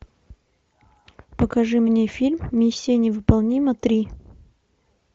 покажи мне фильм миссия невыполнима три